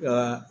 Ka